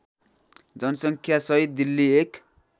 जनसङ्ख्यासहित दिल्ली एक